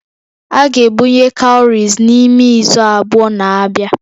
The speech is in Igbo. A ga-ebunye cowries n'ime izu abụọ na-abịa